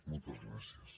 moltes gràcies